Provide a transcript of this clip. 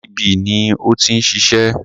GTB ni ó ti ń ṣiṣẹ́.